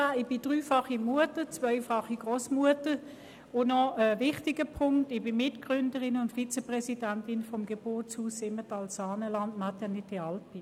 Ich bin dreifache Mutter und zweifache Grossmutter, und ich bin Mitgründerin und Vizepräsidentin des Geburtshauses Simmental-Saaneland, der Maternité Alpine.